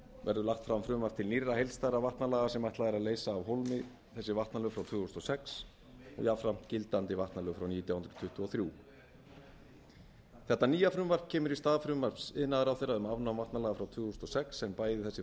verður lagt fram frumvarp til nýrra heildstæðra vatnalaga sem ætlað er að leysa af hólmi þessi vatnalög frá tvö þúsund og sex jafnframt gildandi vatnalög frá nítján hundruð tuttugu og þrjú þetta nýja frumvarp kemur í stað frumvarps iðnaðarráðherra um afnám vatnalaga frá tvö þúsund og sex s á bæði þessi